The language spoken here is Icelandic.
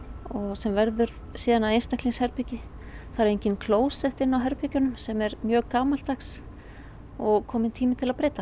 sem verður síðan að einstaklingsherbergi það eru engin klósett inni á herbergjunum sem er mjög gamaldags og kominn tími til að breyta